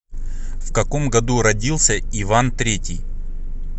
в каком году родился иван третий